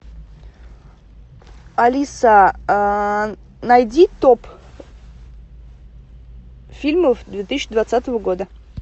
алиса найди топ фильмов две тысячи двадцатого года